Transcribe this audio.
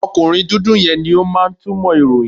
Ọkùnrin dúdú yẹn ni ó máa ń túmọ̀ ìròyìn.